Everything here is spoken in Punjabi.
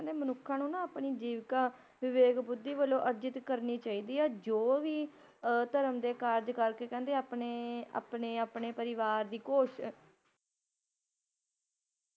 ਮਨੁੱਖਾ ਨੂੰ ਨਾ, ਆਪਣੇ ਜੀਵਕਾ ਵਿਵੇਕ-ਬੁੱਧੀ ਵਲੋ ਅਰਜਿਤ ਕਰਨੀ ਚਾਹੀਦੀ ਏ ਜੌ ਵੀ, ਧਰਮ ਦੇ ਕਾਰਜ ਕਰਕੇ ਕਹਿੰਦੇ ਆਪਣੇ, ਆਪਣੇ ਆਪਣੇ ਪਰਿਵਾਰ ਦੀ